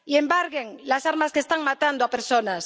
Y embarguen las armas que están matando a personas.